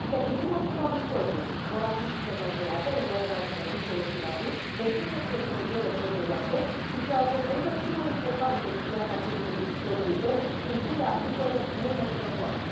Să privim asupra viitorului orașe și țări mai curate, un aer mai sănătos și respirabil, resurse petroliere protejate și, ceea ce consider cel mai important pentru viața fiecărui locuitor, culturi agricole mult mai sănătoase.